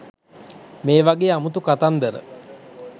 මේ වගේ අමුතු කතන්දර